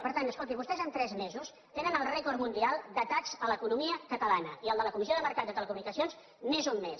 per tant escolti vostès en tres mesos tenen el rècord mundial d’atacs a l’economia catalana i el de la comissió del mercat de les telecomunicacions n’és un més